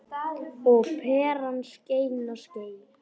Og peran skein og skein.